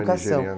Era nigeriana